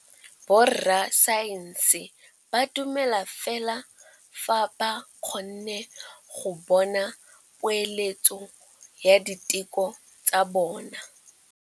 Borra saense ba dumela fela fa ba kgonne go bona poeletsô ya diteko tsa bone.